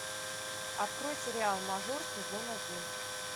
открой сериал мажор сезон один